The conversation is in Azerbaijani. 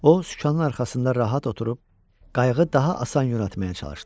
O, sükanın arxasında rahat oturub qayığı daha asan yönəltməyə çalışdı.